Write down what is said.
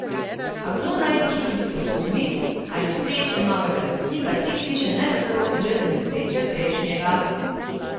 A kdo najbrž tudi posumi, ali sreče novega lastnika te hiše ne bi bilo brez nesreče prejšnjega?